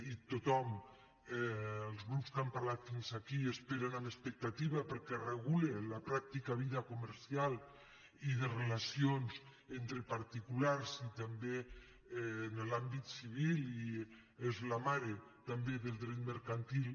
i tothom els grups que han parlat fins aquí l’esperen amb expectativa perquè regula la pràctica vida comercial i de relacions entre particulars i també en l’àmbit civil i és la mare també del dret mercantil